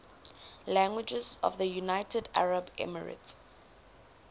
languages of the united arab emirates